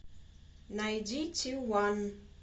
найди тиван